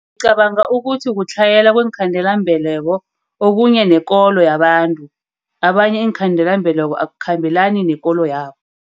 Ngicabanga ukuthi kutlhayela kweenkhandelambeleko. Okunye nekolo yabantu. Abanye iinkhandelambeleko akukhambelani nekolo yabo.